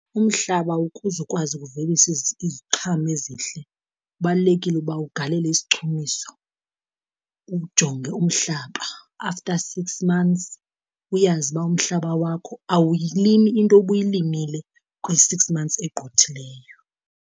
Umhlaba ukuze ukwazi ukuvelisa iziqhamo ezihle kubalulekile uba ugalele isichumiso, uwujonge umhlaba, after six months uyazi uba umhlaba wakho awuyilimi into obuyilimile kwi-six months egqithileyo.